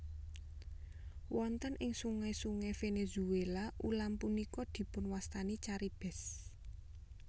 Wonten ing sungai sungai Venezuela ulam punika dipunwastani caribes